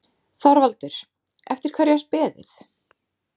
ÞORVALDUR: Eftir hverju er beðið?